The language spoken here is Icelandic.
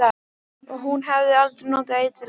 Og hún hafði aldrei notað eiturlyf.